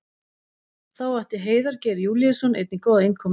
Þá átti Heiðar Geir Júlíusson einnig góða innkomu.